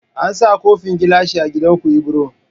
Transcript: An sa kofan gilashi a gidan ku ibro